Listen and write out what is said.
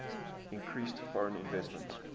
increased foreign investment